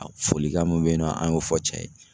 Folikan min be yen nɔ an y'o fɔ cɛ ye.